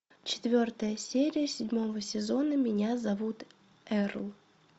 четвертая серия седьмого сезона меня зовут эрл